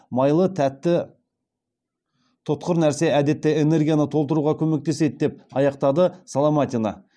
майлы тәтті тұтқыр нәрсе әдетте энергияны толтыруға көмектеседі деп аяқтады соломатина